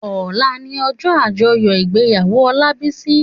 Òlá ni òjò ájòyò igbéyàwó Olabisi